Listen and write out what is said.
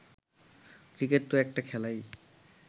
cricket তো একটা খেলাই